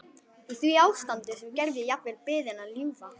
Í því ástandi sem gerði jafnvel biðina ljúfa.